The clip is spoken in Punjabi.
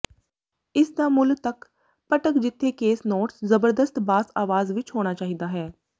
ਇਸ ਦਾ ਮੁੱਲ ਤੱਕ ਭਟਕ ਜਿੱਥੇ ਕੇਸ ਨੋਟਸ ਜ਼ਬਰਦਸਤ ਬਾਸ ਆਵਾਜ਼ ਵਿੱਚ ਹੋਣਾ ਚਾਹੀਦਾ ਹੈ